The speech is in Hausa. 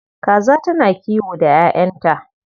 Kaza tana kiwo da 'ya'yanta.